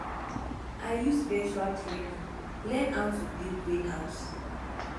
i use virtual training learn how to build greenhouse